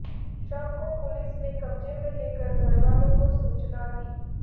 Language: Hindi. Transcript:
शव को पुलिस ने कब्जे में लेकर घरवालों को सूचना दी